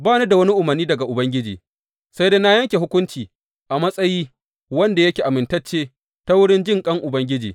Ba ni da wani umarni daga Ubangiji, sai dai na yanke hukunci a matsayi wanda yake amintacce ta wurin jinƙan Ubangiji.